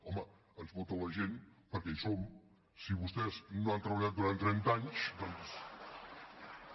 home ens vota la gent perquè hi som si vostès no han treballat durant trenta anys doncs